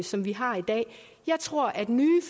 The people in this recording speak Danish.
som vi har i dag jeg tror at nye